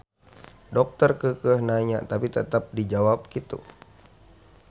Dokter keukeuh nanya tapi tetep dijawab kitu.